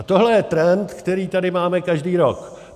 A tohle je trend, který tady máme každý rok.